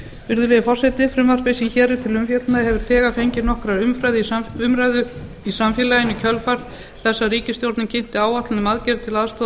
virðulegi forseti frumvarpið sem hér er til umfjöllunar hefur þegar fengið nokkra umræðu í samfélaginu í kjölfar þess að ríkisstjórnin kynnti áætlun um aðgerðir til aðstoðar